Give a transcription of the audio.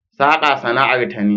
Saka sana'ar ta ne